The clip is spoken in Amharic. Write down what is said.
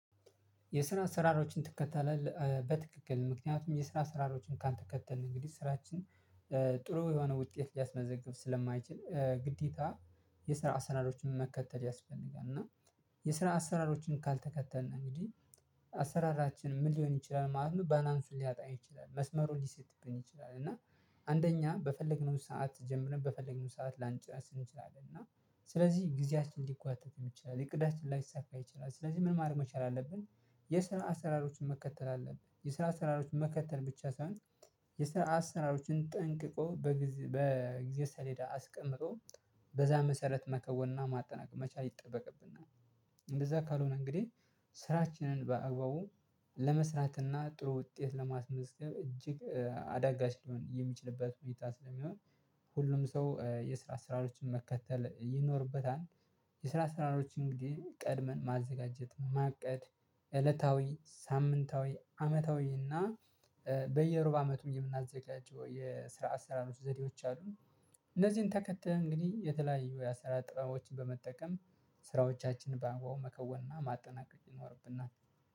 የስራ ስራሮችን ትከተላለህ በትክክል ምክንያቱም የስራ ስራሮችን ካልተከተልን እንግዲህ ስራችን ጥሩ የሆነ ውጤት ሊያስመዘግብ ስለማይችል ግዴታ የስራ አሰራሮችን መከተል ያስፈልጋል። እና የስራ አሰራሮችን ካልተከተልን እንግዲህ አሰራራችን ምን ሊሆን ይችላል ማለት ነው? ባላንሱን ሊያጣ ይችላል መስመሩን ሊስትብን ይችላል። እና አንደኛ በፈለግነው ሰዓት ጀምረን በፈለግነው ሰዓት ላንጨርስ እንችላለን። እና ስለዚህ ጊዜያችን ሊጓተቱም ይችላል እቅዳችን ላይሳካ ይችላል ስለዚህ ምን ማድረግ መቻል አለብን። የስራ አሰራሮችን መከተል አለብህ። የስራ አሰራሮችን መከተል ብቻ ሳይሆን የስራ አሰራሮችን ጠንቅቆ በጊዜ በጊዜ ሰሌዳ አስቀምጦ በዛ መሰረት መከወንና ማጠናቀቅ መቻል ይጠበቅብናል። እንደዛ ካልሆነ እንግዲህ ስራችንን በአግባቡ ለመስራትና ጥሩ ውጤት ለማስመዝገብ እጅግ አዳጋች ሊሆን የሚችልበት ሁኔታ ስለሚሆን። ሁሉም ሰው የስራ ስራዎችን መከተል ይኖርበታል። የስራ ስራዎች እንግዲህ ቀድመን ማዘጋጀት ማቀድ እለታዊ ሳምንታዊ አመታዊ እና በየሩብ አመቱ የምናዘጋጀው የስራ አሰራሮች ዘዴዎች አሉ። እነዚህን ተከተህ እንግዲህ የተለያዩ የአሰራር ጥረቦችን በመጠቀም ስራዎቻችንን በአግባቡ መከወንና ማጠናቀቅ ይኖርብናል